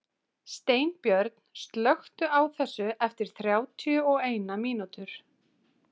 Steinbjörn, slökktu á þessu eftir þrjátíu og eina mínútur.